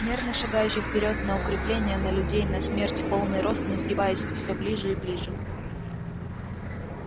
мирно шагающие вперёд на укрепления на людей на смерть в полный рост не сгибаясь всё ближе и ближе